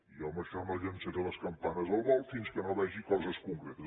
jo en això no llançaré les campanes al vol fins que no vegi coses concretes